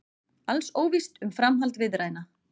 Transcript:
Alls óvíst um framhald viðræðna